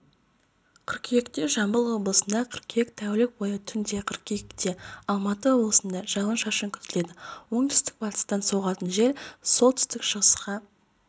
қыркүйекте жамбыл облысында қыркүйек тәулік бойы түнде қыркүйекте алматы облысында жауын-шашын күтіледі оңтүстік-батыстан соғатын жел солтүстік-шығысқа